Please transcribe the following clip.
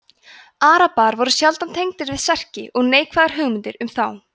arabar voru sjaldan tengdir við serki og neikvæðar hugmyndir um þá